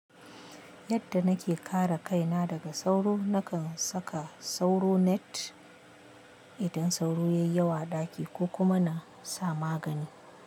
Yadda nake kare kaina daga sauro, nakan saka sauro net idan sauro ya yi yawa a ɗaki ko kuma na sa magani.